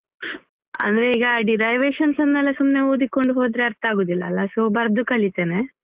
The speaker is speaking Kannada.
ಅಂದ್ರೆ ಈಗ derivations ಯೆಲ್ಲ ಸುಮ್ನೆ ಓದಿಕೊಂಡು ಹೋದ್ರೆ ಅರ್ಥ ಆಗುದಿಲ್ಲ ಅಲ್ಲ so ಬರ್ದು ಕಲೀತೇನೆ.